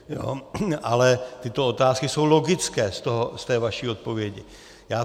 Ale tyto otázky jsou logické z té vaší odpovědi.